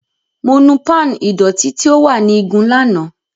Mo nu pan ìdọ̀tí tí ó wà ní igun lánàá.